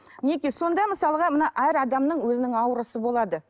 неге сонда мысалға мына әр адамның өзінің аурасы болады